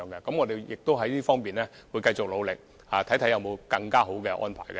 我們會繼續努力，看看有沒有更好的安排。